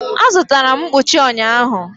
Azụtara m mkpuchi ụnyahụ.